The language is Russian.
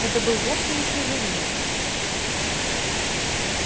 это был вовсе не слизеринец